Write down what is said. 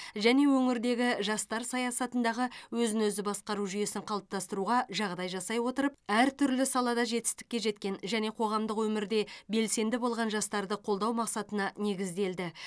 және өңірдегі жастар саясатындағы өзін өзі басқару жүйесін қалыптастыруға жағдай жасай отырып әртүрлі салада жетістікке жеткен және қоғамдық өмірде белсенді болған жастарды қолдау мақсатына негізделді